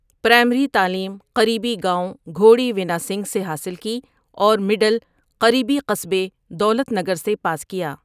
Primary تعلیم قریبی گاؤں گھوڑی ونا سنگھ سے حاصل کی اورمڈل قریبی قصبے دولت نگر سے پاس کیا ۔